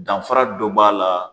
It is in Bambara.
Danfara dɔ b'a la